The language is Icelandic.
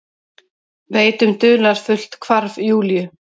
Veit um dularfullt hvarf Júlíu.